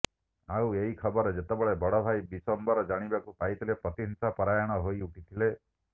ଆଉ ଏହି ଖବର ଯେତେବେଳେ ବଡ ଭାଈ ବିଶ୍ୱମ୍ବର ଜାଣିବାକୁ ପାଇଥିଲେ ପ୍ରତିହିଂସା ପରାୟଣ ହୋଇ ଉଠିଥିଲେ